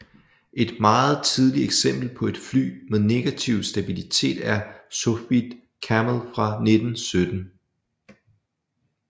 Et meget tidligt eksempel på et fly med negativ stabilitet er Sopwith Camel fra 1917